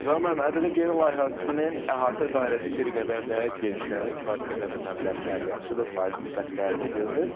Zaur müəllim, ƏDV geri layihəsinin əhatə dairəsi bir qədər də genişlənir, kifayət qədər də məbləğlər yaxşıdır, faiz nisbətləri də görünür.